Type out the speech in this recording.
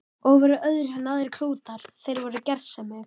Og voru öðruvísi en aðrir klútar, þeir voru gersemi.